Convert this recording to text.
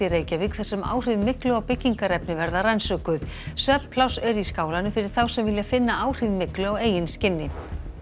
í Reykjavík þar sem áhrif myglu á byggingarefni verða rannsökuð svefnpláss er í skálanum fyrir þá sem vilja finna áhrif myglu á eigin skinni